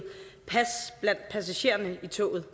pas blandt passagererne i toget